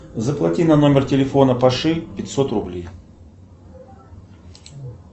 заплати на номер телефона паши пятьсот рублей